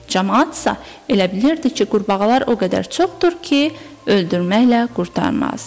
Camaat isə elə bilirdi ki, qurbağalar o qədər çoxdur ki, öldürməklə qurtarmaz.